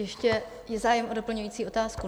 Ještě je zájem o doplňující otázku?